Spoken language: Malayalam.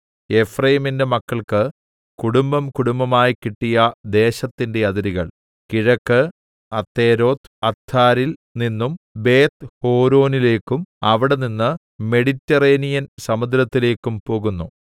എഫ്രയീമിന്റെ മക്കൾക്ക് കുടുംബംകുടുംബമായി കിട്ടിയ ദേശത്തിന്റെ അതിരുകൾ കിഴക്ക് അതെരോത്ത്അദ്ദാരിൽ നിന്നും ബേത്ത്ഹോരോനിലെക്കും അവിടെനിന്ന് മെഡിറ്ററേനിയൻ സമുദ്രത്തിലേക്കും പോകുന്നു